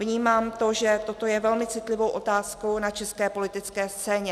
Vnímám to, že toto je velmi citlivou otázkou na české politické scéně.